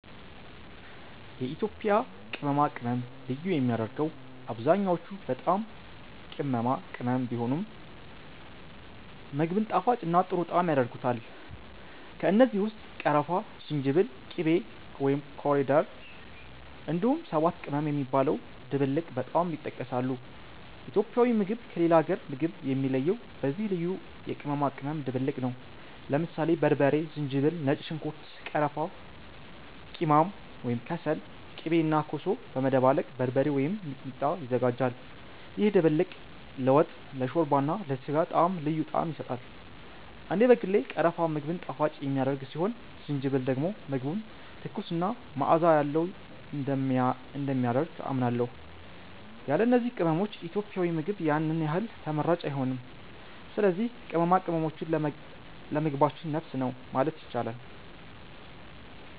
የኢትዮጵያ ቅመማ ቅመም ልዩ የሚያደርገው አብዛኛዎቹ በጣም ቅመማ ቅመም ቢሆኑም፣ ምግቡን ጣፋጭና ጥሩ ጣዕም ያደርጉታል። ከእነዚህ ውስጥ ቀረፋ፣ ዝንጅብል፣ ቂቤ (ኮሪደር)፣ እንዲሁም ሰባት ቅመም የሚባለው ድብልቅ በጣም ይጠቀሳሉ። ኢትዮጵያዊ ምግብ ከሌላ አገር ምግብ የሚለየው በዚህ ልዩ የቅመማ ቅመም ድብልቅ ነው። ለምሳሌ በርበሬ፣ ዝንጅብል፣ ነጭ ሽንኩርት፣ ቀረፋ፣ ቂማም (ከሰል)፣ ቂቤ እና ኮሶ በመደባለቅ “በርበሬ” ወይም “ሚጥሚጣ” ይዘጋጃል። ይህ ድብልቅ ለወጥ፣ ለሾርባ እና ለስጋ ጣዕም ልዩ ጣዕም ይሰጣል። እኔ በግሌ ቀረፋ ምግብን ጣፋጭ የሚያደርግ ሲሆን ዝንጅብል ደግሞ ምግቡን ትኩስ እና መዓዛ ያለው እንደሚያደርግ አምናለሁ። ያለ እነዚህ ቅመሞች ኢትዮጵያዊ ምግብ ያን ያህል ተመራጭ አይሆንም። ስለዚህ ቅመማ ቅመማችን ለምግባችን ነፍስ ነው ማለት ይቻላል።